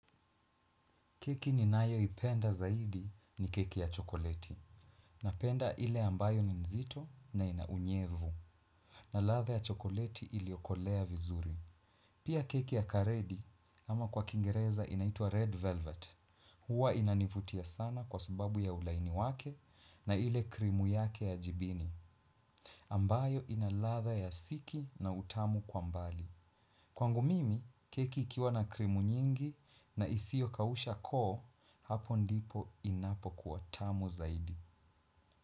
Keki ninayoipenda zaidi ni keki ya chokoleti. Napenda ile ambayo ni mzito na ina unyevu. Na latha ya chokoleti iliokolea vizuri. Pia keki ya karedi ama kwa kingereza inaitwa red velvet. Huwa inanivutia sana kwa sababu ya ulaini wake na ile krimu yake ya jibini. Ambayo ina ladha ya siki na utamu kwa mbali. Kwangu mimi, keki ikiwa na krimu nyingi na isio kausha koo, hapo ndipo inapokuwa tamu zaidi.